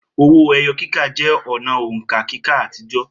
Owó ẹyọ kíkà jẹ́ ọ̀nà òǹkà kíkà àtijọ́